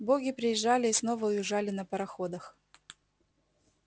боги приезжали и снова уезжали на пароходах